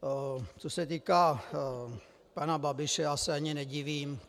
Co se týká pana Babiše, já se ani nedivím.